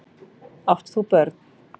Átt þú börn?